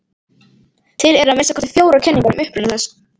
Til eru að minnsta kosti fjórar kenningar um uppruna þess.